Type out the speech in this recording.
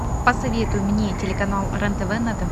посоветуй мне телеканал рен тв на тв